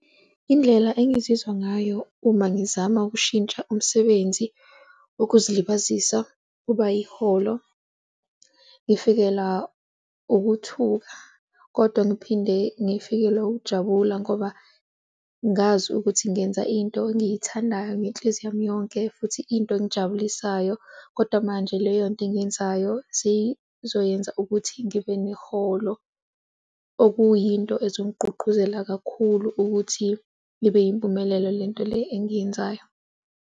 Indlela engizizwa ngayo uma ngizama ukushintsha umsebenzi wokuzilibazisa uba yiholo. Ngifikelwa ukuthuka kodwa ngiphinde ngifikelwa ukujabula ngoba ngazi ukuthi ngenza into engiyithandayo ngenhliziyo yami yonke, futhi into engijabulisayo. Kodwa manje leyonto engiyenzayo siyizoyenza ukuthi ngibe neholo okuyinto uzongigqugquzela kakhulu ukuthi ibe yimpumelelo le nto le engiyenzayo.